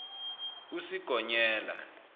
usigonyela